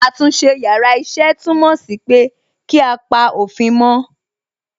Àtúnṣe yàrá iṣẹ́ túmọ̀ sí pé kí á pa òfin mó.